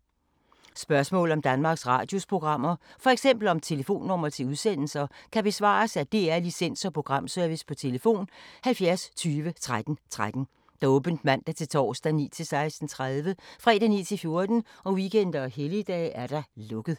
Spørgsmål om Danmarks Radios programmer, f.eks. om telefonnumre til udsendelser, kan besvares af DR Licens- og Programservice: tlf. 70 20 13 13, åbent mandag-torsdag 9.00-16.30, fredag 9.00-14.00, weekender og helligdage: lukket.